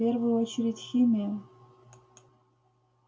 в первую очередь химия